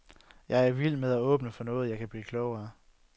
Jeg er vild med at åbne for noget, jeg kan blive klogere af.